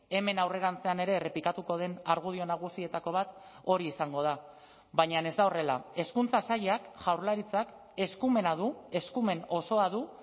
hemen aurrerantzean ere errepikatuko den argudio nagusietako bat hori izango da baina ez da horrela hezkuntza sailak jaurlaritzak eskumena du eskumen osoa du